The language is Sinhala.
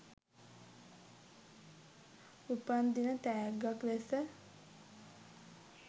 උපන් දින තෑග්ගක් ලෙස